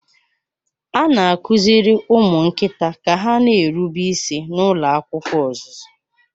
A na-akụziri ụmụ nkịta ka ha na-erube isi n'ụlọ akwụkwọ ọzụzụ.